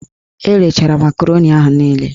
Erechara makaroni ahụ niile